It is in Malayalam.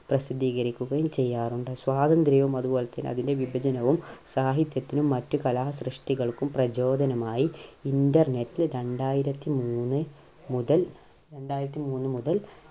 പ്രസിദ്ധീകരിക്കുകയും ചെയ്യാറുണ്ട്. സ്വാതന്ത്ര്യവും അതുപോലെ തന്നെ അതിന്റെ വിഭജനവും സാഹിത്യത്തിനും മറ്റു കലാ സൃഷ്ടികൾക്കും പ്രചോദനമായി. Internet ൽ രണ്ടായിരത്തിമൂന്ന് മുതൽ രണ്ടായിരത്തിമൂന്ന് മുതൽ